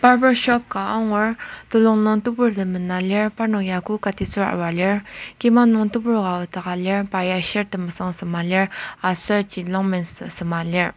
Barber shop ka angur telung nung teburtem mena lir parnok ya ku katitsüba arua lir kima nung tebur ka nokdaka lir pa ya shirt temesüng sema lir aser jean longpantsema lir.